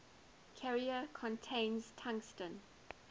carrier contains tungsten